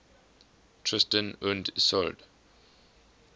tristan und isolde